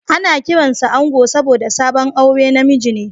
Ana kiransa da Ango saboda sabon aure na miji ne